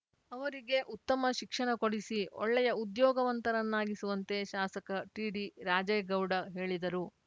ಅವರಿಗೆ ಉತ್ತಮ ಶಿಕ್ಷಣ ಕೊಡಿಸಿ ಒಳ್ಳೆಯ ಉದ್ಯೋಗವಂತರನ್ನಾಗಿಸುವಂತೆ ಶಾಸಕ ಟಿಡಿ ರಾಜೇಗೌಡ ಹೇಳಿದರು